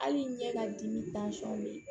Hali ɲɛ ka dimi bɛ ye